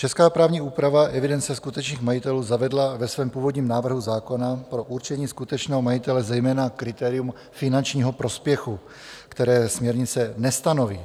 Česká právní úprava evidence skutečných majitelů zavedla ve svém původním návrhu zákona pro určení skutečného majitele zejména kritérium finančního prospěchu, které směrnice nestanoví.